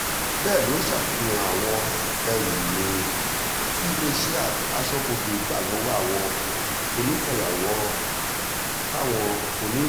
bẹ́ẹ̀ ló ṣàfihàn àwọn ẹrù mí-ín tí iléeṣẹ́ a aṣọ́bodè gbà lọ́wọ́ àwọn onífàyàwọ́ fáwọn onírò